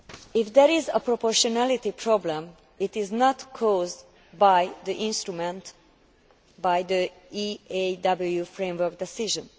If there is a proportionality problem, it is not caused by the instrument or by the EAW framework decision